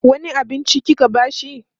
wani abinci kike bashi?